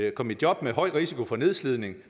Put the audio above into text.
at komme i jobs med høj risiko for nedslidning